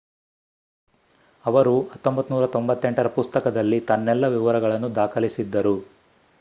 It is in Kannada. ಅವರು 1998ರ ಪುಸ್ತಕದಲ್ಲಿ ತನ್ನೆಲ್ಲ ವಿವರವನ್ನು ದಾಖಲಿಸಿದ್ದರು